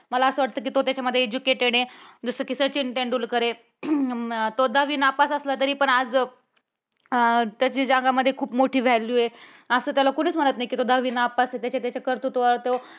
मला असं वाटतं कि त्याच्यामध्ये तो educated आहे. जसं की सचिन तेंडुलकर आहे. अह तो दहावी नापास असला तरी पण आज त्याच्या जगामध्ये खूप मोठी value आहे. अस त्याला कुणीच म्हणत नाही की तो दहावी नापास आहे. त्याच्या त्याच्या कर्तृत्वावर तो